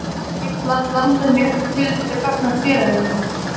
Þar nægir rétt handhöfn í öllu tilliti gagnvart félaginu.